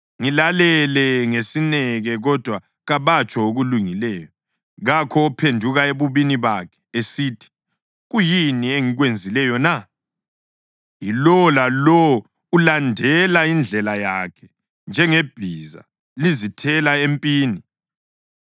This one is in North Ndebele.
Ngilalele ngesineke, kodwa kabatsho okulungileyo. Kakho ophenduka ebubini bakhe, esithi, “Kuyini engikwenzileyo na?” Yilowo lalowo ulandela indlela yakhe njengebhiza lizithela empini.